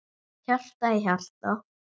Hjarta í hjarta.